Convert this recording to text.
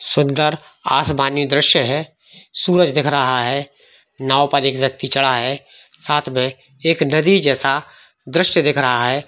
सुंदर आसमानी दृश्य है सूरज दिख रहा है नाव पर एक व्यक्ति चड़ा है साथ मे एक नदी जैसा दृश्यदिख रहा है।